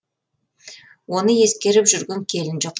оны ескеріп жүрген келін жоқ